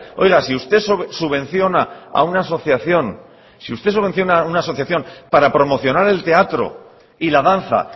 oiga si usted subvenciona a una asociación para promocionar el teatro y la danza